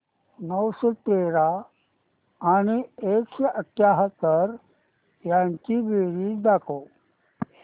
नऊशे तेरा आणि एकशे अठयाहत्तर यांची बेरीज दाखव